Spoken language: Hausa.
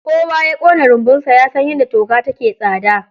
kowa yakona runbunsa yasan yadda toka take tsada.